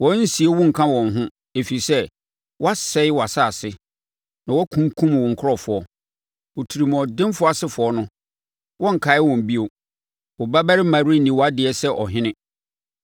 Wɔrensie wo nka wɔn ho, ɛfiri sɛ, woasɛe wʼasase na wakunkum wo nkurɔfoɔ. Otirimuɔdenfoɔ asefoɔ no wɔrenkae wɔn bio. Wo babarima renni wʼadeɛ sɛ ɔhene.